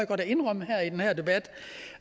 godt at indrømme i den her debat